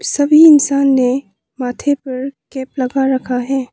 सभी इंसान ने माथे पर कैप लगा रखा है।